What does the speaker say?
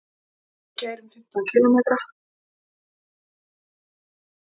Við keyrum fimmtán kílómetra.